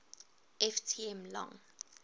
ft m long